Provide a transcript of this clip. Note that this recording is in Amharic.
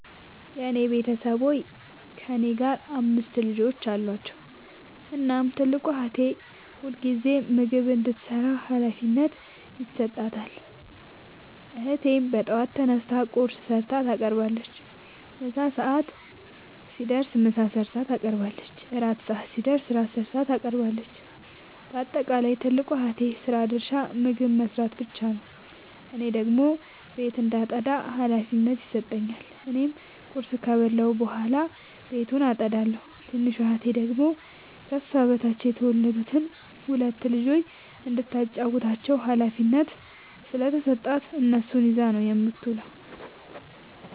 የኔ ቤተሠቦይ ከእኔ ጋር አምስት ልጆች አሏቸዉ። እናም ትልቋን እህቴ ሁልጊዜም ምግብ እንድትሰራ ሀላፊነት ይሠጣታል። እህቴም በጠዋት ተነስታ ቁርስ ሠርታ ታቀርባለች። የምሣ ሰዓት ሲደርስም ምሳ ሠርታ ታቀርባለች። የእራት ሰዓት ሲደርስም ራት ሠርታ ታቀርባለች። ባጠቃለይ የትልቋ እህቴ የስራ ድርሻ ምግብ መስራት ብቻ ነዉ። እኔን ደግሞ ቤት እንዳጠዳ ሀላፊነት ይሠጠኛል። እኔም ቁርስ ከበላሁ በኃላ ቤቱን አጠዳለሁ። ትንሿ እህቴ ደግሞ ከሷ በታች የተወለዱትን ሁለት ልጆይ እንዳታጫዉታቸዉ ሀላፊነት ስለተሠጣት እነሱን ይዛ ነዉ የምትዉለዉ።